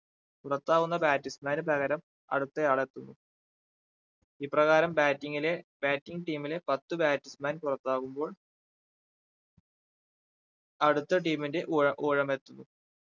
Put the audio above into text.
പുറത്താകുന്ന batsman പകരം അടുത്തയാൾ എത്തുന്നു ഇപ്രകാരം bating ലെ bating team ലെ പത്ത് batsman പുറത്താകുമ്പോൾ അടുത്ത team ന്റെ ഊഴ ഊഴമെത്തുന്നു